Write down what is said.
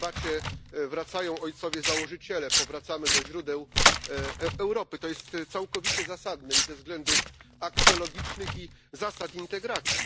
W tej debacie wracają ojcowie założyciele, powracamy do źródeł Europy, to jest całkowicie zasadne i ze względów aksjologicznych i zasad integracji.